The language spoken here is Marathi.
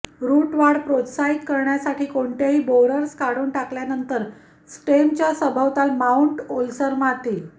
रूट वाढ प्रोत्साहित करण्यासाठी कोणतेही बोअरर्स काढून टाकल्यानंतर स्टेमच्या सभोवताल माऊंट ओलसर माती